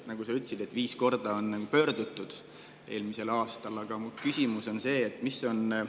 Nagu sa ütlesid, on viis korda eelmisel aastal tema poole pöördutud.